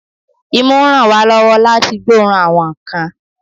Imú ń ràn wá lọ́wọ́ láti gbóòórùn àwọn nǹkan